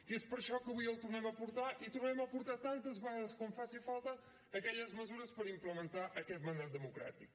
i és per això que avui el tornem a portar i tornarem a portar tantes vegades com faci falta aquelles mesures per implementar aquest mandat democràtic